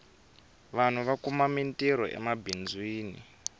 vanhu va kuma mintirho emabindzwini